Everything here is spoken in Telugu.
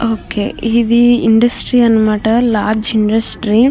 ఓకే ఇది ఇండస్ట్రీ అనమాట. Large industry --